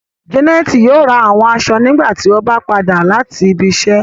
Janẹtì yóò rá awọn aṣọ̀ nígbàtí ọ bá padà lati ibìíṣẹ